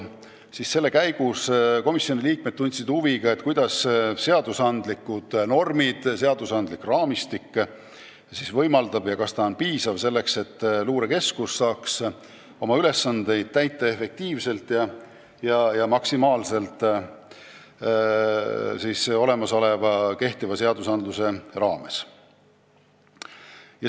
Komisjoni liikmed tundsid siis huvi, kas seadusandlikud normid, seadusandlik raamistik võimaldab luurekeskusel oma ülesandeid maksimaalse efektiivsusega täita.